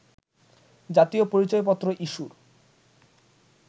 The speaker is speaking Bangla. জাতীয় পরিচয়পত্র ইস্যুর